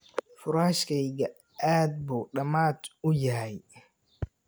Furaashkayga aad buu damad uu yahay.